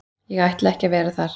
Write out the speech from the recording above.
Ég ætla ekki að vera þar.